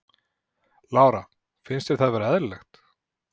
Lára: Finnst þér það vera eðlilegt?